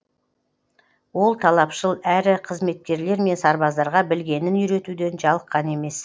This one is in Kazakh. ол талапшыл әрі қызметкерлер мен сарбаздарға білгенін үйретуден жалыққан емес